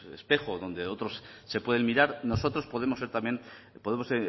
espejo donde otros se pueden mirar nosotros podemos ser también o podemos